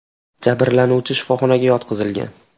Jabrlanuvchi shifoxonaga yotqizilgan.